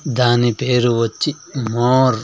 దాని పేరు వచ్చి మోర్ .